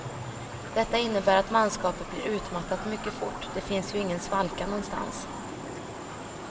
Detta innebär att manskapet blir utmattat mycket fort, det finns ju ingen svalka någonstans.